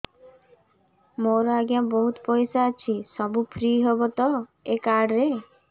ମୋର ଆଜ୍ଞା ବହୁତ ପଇସା ଅଛି ସବୁ ଫ୍ରି ହବ ତ ଏ କାର୍ଡ ରେ